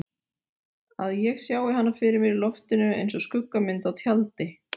Að ég sjái hana fyrir mér í loftinu einsog skuggamynd á tjaldi.